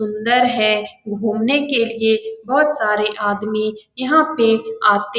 सुन्दर है घुमने के लिए बहुत सारे आदमी यहाँ पे आते --